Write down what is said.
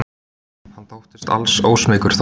Hann þóttist alls ósmeykur þó.